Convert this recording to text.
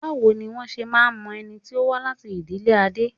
Báwo ni wọ́n ṣe máa ń mọ ẹni tí ó wá láti ìdílé Adé?